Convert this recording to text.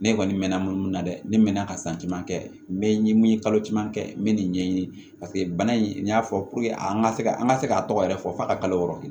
Ne kɔni mɛɛnna mun na dɛ ne mɛnna ka santima kɛ n mɛ mun ye kalo caman kɛ n bɛ nin ɲɛɲini paseke bana in n y'a fɔ an ka se ka an ka se k'a tɔgɔ yɛrɛ fɔ a ka kalo wɔɔrɔ kɛ